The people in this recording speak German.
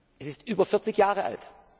Es ist über 40 Jahre alt.